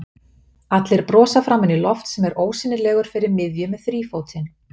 Allir brosa framan í Loft sem er ósýnilegur fyrir miðju með þrífótinn.